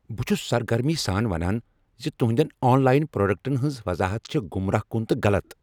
بہٕ چُھس سرگرمی سان ونان زِ تہنٛدین آن لاین پروڈکٹن ہٕنٛزٕ وضاحت چھےٚ گمراہ کن تہٕ غلط۔